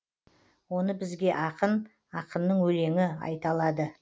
оны бізге ақын ақынның өлеңі айта алады